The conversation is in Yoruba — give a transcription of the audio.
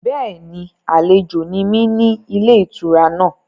Bẹ́ẹ̀ni, àlejò ni mí ní ilé-ìtura náà.